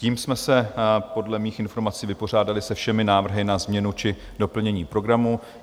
Tím jsme se podle mých informací vypořádali se všemi návrhy na změnu či doplnění programu.